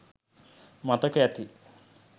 මතක ඇති